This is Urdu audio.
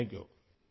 شکریہ!